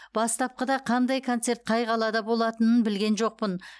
бастапқыда қандай концерт қай қалада болатынын білген жоқпын